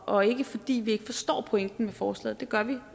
og ikke fordi vi ikke forstår pointen med forslaget det gør vi